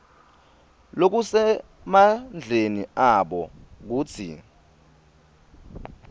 lokusemandleni abo kutsi